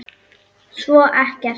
Svo ekkert.